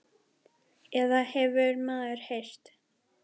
Eða það hefur maður heyrt.